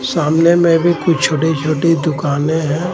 सामने मे भी कुछ छोटी-छोटी दुकानें हैं.